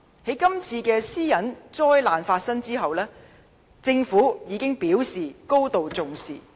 在今次私隱災難發生後，政府已表示高度重視。